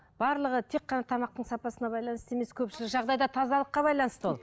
барлығы тек қана тамақтың сапасына байланысты емес көпшілік жағдайда тазалыққа байланысты ол